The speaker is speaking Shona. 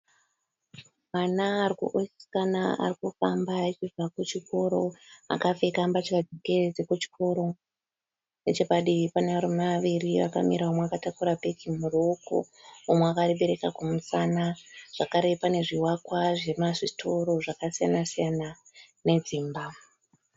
Mwana wechisikana ari kufamba achibva kuchikoro akapfeka mbatya dzekuchikoro. Nechepadivi pane varume vaviri vakamira umwe akatakura bhegi muruoko umwe akaribereka kumusana zvakare pane zvivakwa zvemasitoro zvakasiyana siyana nedzimba.